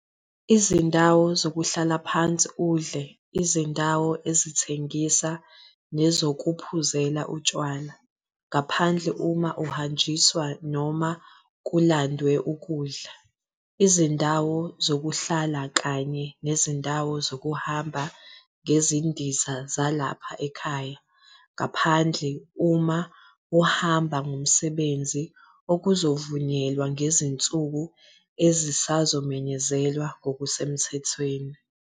Izindawo zokuhlala phansi udle, izindawo ezithengisa nezokuphuzela utshwala, ngaphandle uma kuhanjiswa noma kulandwe ukudla. Izindawo zokuhlala kanye nezindawo zokuhamba ngezindiza zalapha ekhaya, ngaphandle uma uhamba ngomsebenzi, okuzovunyelwa ngezinsuku ezisazomenyezelwa ngokusemthethweni.